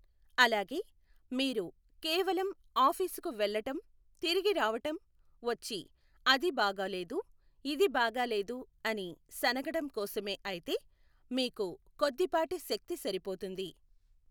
అలాగే మీరు కేవలం ఆఫీసుకు వెళ్ళటం తిరిగిరావటం వచ్చి, అది బాగాలేదు ఇది బాగా లేదు అని సణగటం కోసమే అయితే, మీకు కొద్దిపాటి శక్తి సరిపోతుంది.